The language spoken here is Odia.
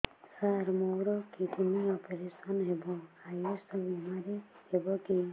ସାର ମୋର କିଡ଼ନୀ ଅପେରସନ ହେବ ଆୟୁଷ ବିମାରେ ହେବ କି